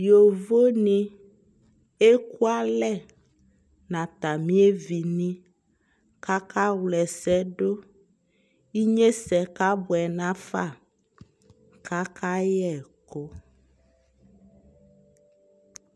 yɔvɔ ni ɛkʋ alɛ nʋ atami ɛvi ni kʋ aka wlɛ ɛsɛ dʋ, inyɛsɛ kabʋɛ nʋ aƒa kʋ aka yɛkʋ